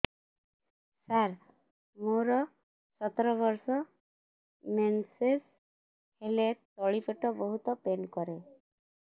ସାର ମୋର ସତର ବର୍ଷ ମେନ୍ସେସ ହେଲେ ତଳି ପେଟ ବହୁତ ପେନ୍ କରେ